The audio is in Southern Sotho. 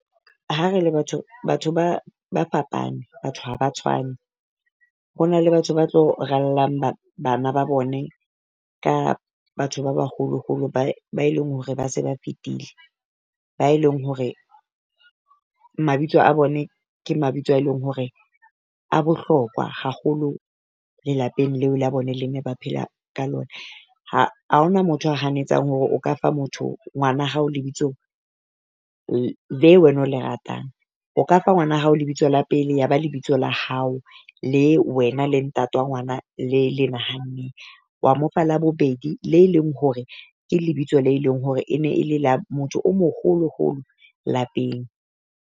Ha re le batho batho ba fapane batho ha ba tshwane, ho na le batho ba tlo rallang ba bana ba bone, ka batho ba baholo-holo ba ba e leng hore ba se ba fetile, ba e leng hore mabitso a bone ke mabitso a e leng hore a bohlokwa haholo lelapeng leo la bone le ne ba phela ka lona. Ha ha ho na motho a hanetsang hore o ka fa motho ngwana hao lebitso le wena o le ratang, o ka fa ngwana hao lebitso la pele ya ba lebitso la hao, le wena le ntate wa ngwana le le nahanne. Wa mo fa labobedi le leng hore ke lebitso le leng hore e ne le motho o moholo-holo lapeng.